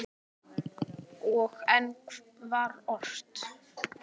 Og enn var ort.